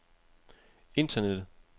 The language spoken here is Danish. internettet